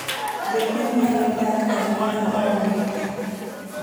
Be gwen nyalo dak aming'a maonge pi?